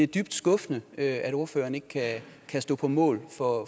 dybt skuffende at ordføreren ikke kan kan stå på mål for